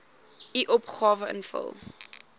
u opgawe invul